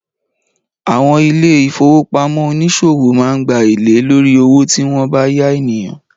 Àwọn ilé-ìfowópamọ́ oníṣòwò máa ń gba èlé lórí owó tí wọn bá yá ènìyàn